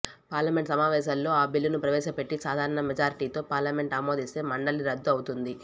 parliament సమావేశాల్లో ఆ బిల్లును ప్రవేశ పెట్టి సాధారణ మెజార్టీతో పార్లమెంట్ ఆమోదిస్తే మండలి రద్దు అవుతోంది